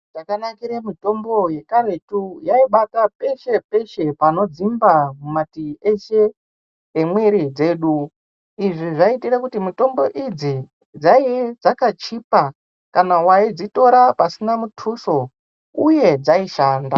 Zvakanakira mitombo yekaretu yaibata peshe-peshe pano dzimba mumativi eshe emwiri dzedu. Izvi zvaiitire kuti mitombo idzi dzaii dzakachipa kana vaidzitora pasina mutuso, uye dzaishanda.